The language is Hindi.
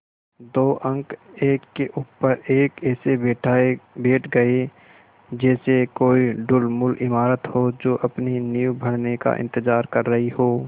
दो अंक एक के ऊपर एक ऐसे बैठ गये जैसे कोई ढुलमुल इमारत हो जो अपनी नींव भरने का इन्तज़ार कर रही हो